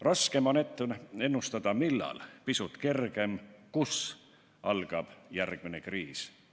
Raske on ette ennustada, millal algab järgmine kriis, pisut kergem on prognoosida, kus see algab.